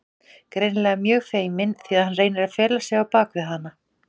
Greinilega mjög feiminn því að hann reynir að fela sig á bak við hana.